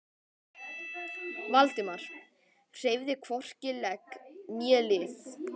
Valdimar hreyfði hvorki legg né lið.